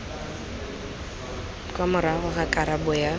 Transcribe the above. kwa morago ga karabo ya